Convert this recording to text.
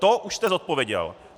To už jste zodpověděl.